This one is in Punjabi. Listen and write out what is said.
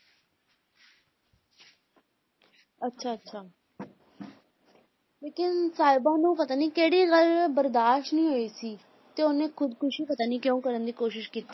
ਅੱਛਾ ਅੱਛਾ ਲੇਕਿੰਨ ਸਾਹਿਬਾ ਨੂੰ ਪਤਾ ਨੀ ਕਿਹੜੀ ਗੱਲ ਬਰਦਾਸ਼ਤ ਨਹੀਂ ਹੋਈ ਸੀ ਤੇ ਉਹਨੇ ਖੁੱਦਕੁਸ਼ੀ ਪਤਾ ਨੀ ਕਿਉਂ ਕਰਨ ਦੀ ਕੋਸ਼ਿਸ਼ ਕੀ~